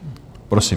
Prosím.